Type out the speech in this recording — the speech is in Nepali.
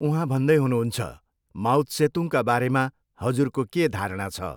उहाँ भन्दै हुनुहुन्छ, माओत्सेतुङका बारेमा हजुरको के धारणा छ?